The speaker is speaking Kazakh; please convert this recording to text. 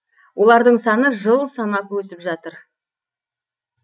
олардың саны жыл санап өсіп жатыр